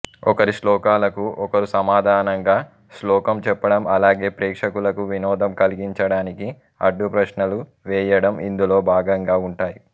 ఒకరి శ్లోకాలకు ఒకరు సమాధానంగా శ్లోకం చెప్పడం అలాగే ప్రేక్షకులకు వినోదం కలిగించడానికి అడ్డుప్రశ్నలు వేయడం ఇందులో భాగంగా ఉంటాయి